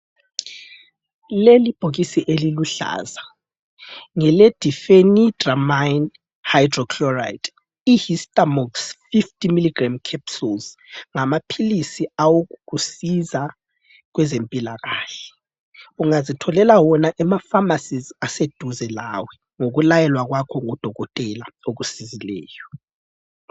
Leli bhokisi eliluhlaza, ngele Dephenydramine hydrochloride. Ihistamox 50mg capsules, ngamaphilisi awokukusiza kwezempilakahle. Ungazitholela wona ema pharmacies aseduze lawe ngokulayelwa kwakho ngodokotela okusizileyo.